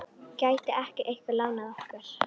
Gæti ekki einhver lánað okkur?